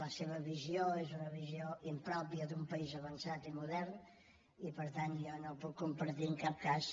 la seva visió és una visió impròpia d’un país avançat i modern i per tant jo no puc compartir en cap cas